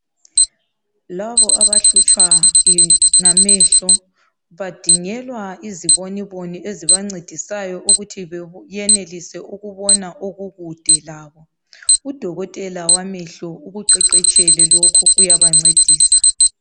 Labo abahlutshwa ngamehlo badingelwa iziboniboni ezibancedisayo ukuthi beyenelise ukubona okukude labo .Udokotela wamehlo ukuqeqetshele lokhu uyabancedisa.